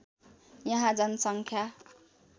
यहाँ जनसङ्ख्या